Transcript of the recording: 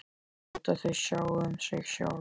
Láta þau sjá um sig sjálf.